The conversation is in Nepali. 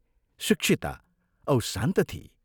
शिक्षिता औ शान्त थिई।